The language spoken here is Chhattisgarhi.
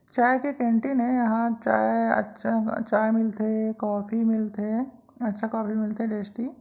चाय के कैंटीन ऐ यहाँँ चाय अच्छा चाय मिलथे कॉफ़ी मिलथे अच्छा कॉफ़ी मिलथे टेस्टी --